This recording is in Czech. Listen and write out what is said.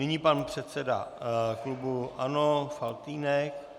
Nyní pan předseda klubu ANO Faltýnek.